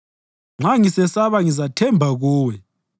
Nxa ngisesaba ngizathemba kuwe.